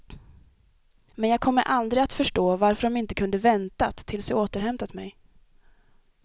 Men jag kommer aldrig att förstå varför de inte kunde väntat tills jag återhämtat mig.